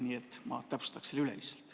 Nii et ma täpsustan selle üle lihtsalt.